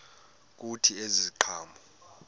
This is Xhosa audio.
kuthi ezi ziqhamo